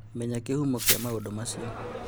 Menya kĩhumo kĩa maũndũ macio